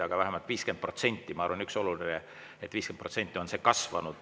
Aga ma arvan, et oluline on, et 50% on see kasvanud.